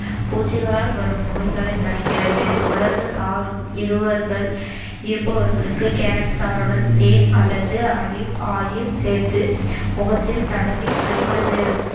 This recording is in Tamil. பூச்சிகளால் வரும் நோய்களைத் தடுக்கிறது உலர்ந்த சாறும் இருவர்கள்~ இருப்பவர்களுக்கு கேரட் சாறுடன் தேன் அல்லது ஆலிவ் oil சேர்த்து முகத்தில் தடவி ஐம்பது